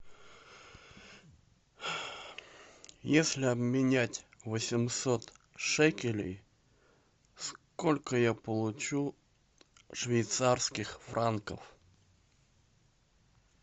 если обменять восемьсот шекелей сколько я получу швейцарских франков